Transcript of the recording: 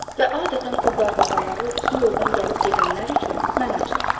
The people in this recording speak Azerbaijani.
Və adətən o darvazaları bu yoldan gəlib-gedənlər üçün mən açıram.